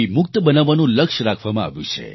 મુક્ત બનાવવાનું લક્ષ્ય રાખવામાં આવ્યું છે